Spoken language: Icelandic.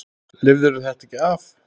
Lifirðu þetta ekki af?